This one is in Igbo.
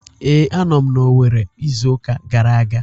Ee, a nọ m na Owerri izu uka gara aga